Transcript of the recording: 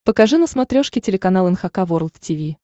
покажи на смотрешке телеканал эн эйч кей волд ти ви